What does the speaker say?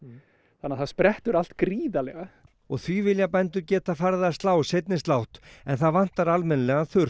þannig að það sprettur allt gríðarlega og því vilja bændur geta farið að slá seinni slátt en það vantar almennilegan